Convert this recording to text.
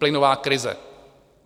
Plynová krize.